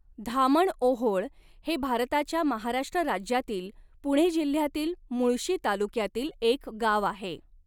धामणओहोळ हे भारताच्या महाराष्ट्र राज्यातील पुणे जिल्ह्यातील मुळशी तालुक्यातील एक गाव आहे.